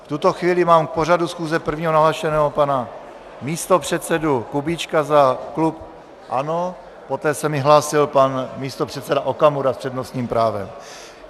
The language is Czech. V tuto chvíli mám k pořadu schůze prvního nahlášeného pana místopředsedu Kubíčka za klub ANO, poté se mi hlásil pan místopředseda Okamura s přednostním právem.